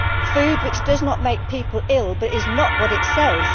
Food which does not make people ill but is not what it says.